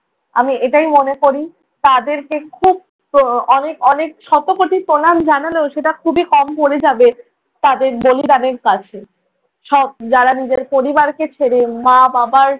আমি এটাই মনে করি। তাদেরকে খুব উহ অনেক অনেক শতকোটি প্রণাম জানালেও সেটা খুবই কম পরে যাবে তাদের বলিদানের কাছে। সব যারা নিজের পরিবারকে ছেড়ে, মা বাবার